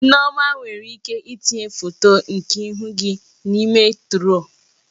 Nneoma nwere ike itinye foto nke ihu gị n'ime turuọ